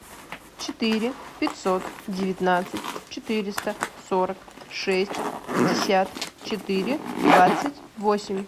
четыре пятьсот девятнадцать четыреста сорок шесть пятьдесят четыре двадцать восемь